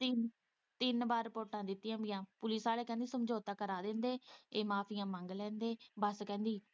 ਤਿੰਨ- ਤਿੰਨ ਵਾਰ ਰਿਪੋਟਾਂ ਦਿੱਤੀਆਂ ਪੁਲਿਸ ਪਈਆਂ ਪੁਲਿਸ ਵਾਲੇ ਕਹਿੰਦੇ ਸਮਝੌਤਾ ਕਰਾਂ ਦਿੰਦੇ ਇਹ ਮਾਫ਼ੀਆ ਮੰਗ ਲੈਂਦੇ ਬਸ ਕਹਿੰਦੀ।